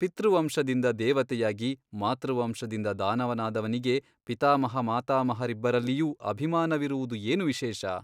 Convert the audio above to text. ಪಿತೃವಂಶದಿಂದ ದೇವತೆಯಾಗಿ ಮಾತೃವಂಶದಿಂದ ದಾನವನಾದವನಿಗೆ ಪಿತಾಮಹಮಾತಾಮಹರಿಬ್ಬರಲ್ಲಿಯೂ ಅಭಿಮಾನವಿರುವುದು ಏನು ವಿಶೇಷ ?